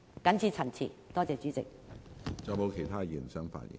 謹此陳辭，多謝主席。